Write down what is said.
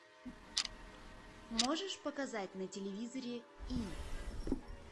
можешь показать на телевизоре и